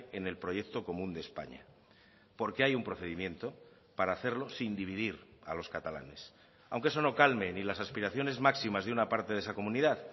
en el proyecto común de españa porque hay un procedimiento para hacerlo sin dividir a los catalanes aunque eso no calme ni las aspiraciones máximas de una parte de esa comunidad